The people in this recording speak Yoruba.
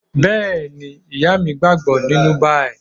Bẹ́ẹ̀ni, Ìyá mi gbàgbọ́ nínú báyìí